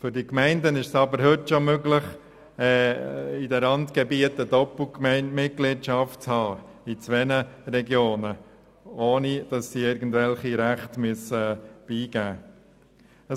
Für die Gemeinden ist es aber heute schon möglich, in den Randgebieten Doppelmitgliedschaften zu haben, also zwei Regionen anzugehören, ohne irgendwelche Rechte abgeben zu müssen.